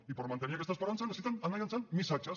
i per mantenir aquesta esperança necessiten anar llançant missatges